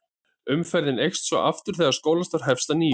Umferðin eykst svo aftur þegar skólastarf hefst að nýju.